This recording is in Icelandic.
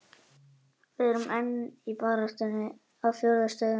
Við erum enn í baráttunni á fjórum stöðum.